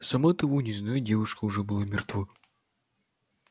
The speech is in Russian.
сама того не зная девушка уже была мертва